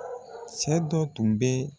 Sɛ dɔ tun bɛ